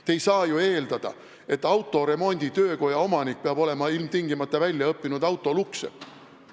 Te ei saa ju eeldada, et autoremonditöökoja omanik peab ilmtingimata olema väljaõppinud autolukksepp.